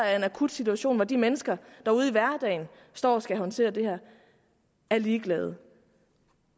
er en akut situation hvor de mennesker der ude i hverdagen står og skal håndtere det her er ligeglade